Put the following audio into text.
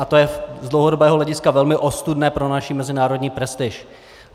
A to je z dlouhodobého hlediska velmi ostudné pro naši mezinárodní prestiž.